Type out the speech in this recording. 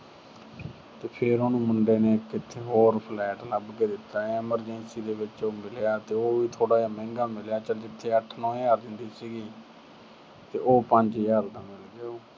ਤੇ ਫਿਰ ਉਹ ਮੁੰਡੇ ਨੇ ਕਿਥੇ ਹੋਰ flat ਲੱਭ ਕੇ ਦਿੱਤਾ। emergency ਦੇ ਵਿੱਚ ਮਿਲਿਆ, ਉਹ ਵੀ ਥੋੜਾ ਜਿਹਾ ਮਹਿੰਗਾ ਮਿਲਿਆ। ਚਲ ਜਿੱਥੇ ਅੱਠ ਨੌਂ ਹਜ਼ਾਰ ਦਿੰਦੀ ਸੀਗੀ, ਤੇ ਉਹ ਪੰਜ ਹਜ਼ਾਰ ਦਾ ਮਿਲ ਗਿਆ ਉਹਨੂੰ।